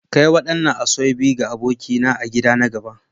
Kai wadannan Asoebi ga abokina a gida na gaba.